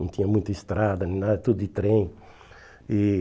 Não tinha muita estrada, nada, tudo de trem. E